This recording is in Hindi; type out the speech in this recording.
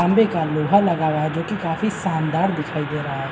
खम्बे का लोहा लगा हुआ जो कि काफी शानदार दिखाई दे रहा है।